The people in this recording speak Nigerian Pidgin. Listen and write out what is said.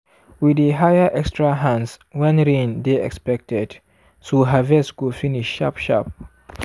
we dey hire extra hands when rain dey expected so harvest go finish sharp sharp.